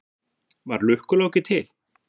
Var Lukku-Láki til?